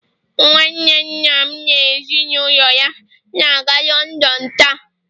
nwanne nna m na ezi na ulo ya na-aga London taa